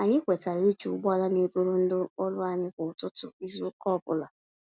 Anyị kwetara iji ụgbọala n'eburu ndị ọrụ anyị kwá ụtụtụ izu ụka ọbula